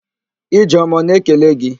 Ijeọma ọ na-ekele gị??